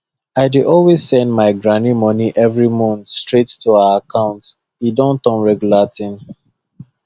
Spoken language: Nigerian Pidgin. i dey always send my granny money every month straight to her account e don turn regular thing